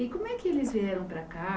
E como é que eles vieram para cá?